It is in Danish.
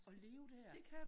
Og leve dér